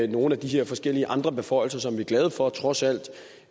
nogle af de her forskellige andre beføjelser som vi er glade for trods alt